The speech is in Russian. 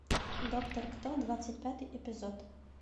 доктор кто двадцать пятый эпизод